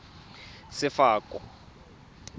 sefako